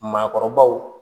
Maakɔrɔbaw